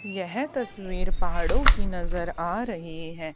यह तस्वीर पहाड़ों की नजर आ रही है।